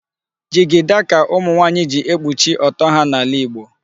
Jigida ka ụmụnwaanyị ji ekpuchi ọtọ ha n'ala Igbo.